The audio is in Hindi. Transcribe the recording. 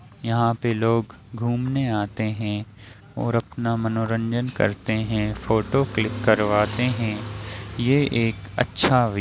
यहाँ पे लोग घूमने आते हैं और अपना मनोरंजन करते हैं फोटो क्लिक करवाते हैं ये एक अच्छा वि --